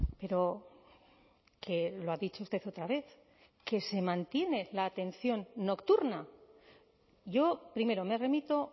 pero que lo ha dicho usted otra vez que se mantiene la atención nocturna yo primero me remito